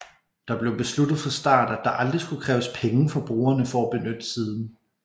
Der blev besluttet fra start at der aldrig skulle kræves penge fra brugerne for at benytte siden